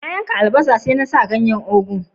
Na yanka albasan, sai na sa a ganyen ugu'n.